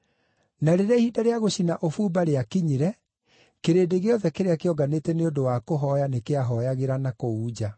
Na rĩrĩa ihinda rĩa gũcina ũbumba rĩakinyire, kĩrĩndĩ gĩothe kĩrĩa kĩonganĩte nĩ ũndũ wa kũhooya, nĩ kĩahooyagĩra na kũu nja.